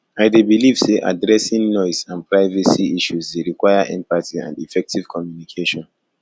i dey believe say addressing noise and privacy issues dey require empathy and effective communication